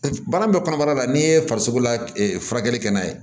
Baara bɛ kɔnɔbara la n'i ye farisogo la furakɛli kɛ n'a ye